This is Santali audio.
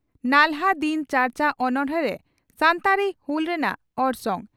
ᱱᱟᱞᱦᱟᱼᱫᱤᱱ ᱪᱟᱨᱪᱟ ᱚᱱᱚᱬᱦᱮ ᱨᱮ ᱥᱟᱱᱛᱟᱲᱤ ᱦᱩᱞ ᱨᱮᱱᱟᱜ ᱚᱨᱥᱚᱝ